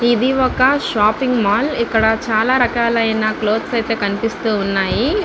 ఇది వక shopping mall ఇక్కడ చాలా రకాలైన క్లోత్స్ అయితే కనిపిస్తూవున్నాయి.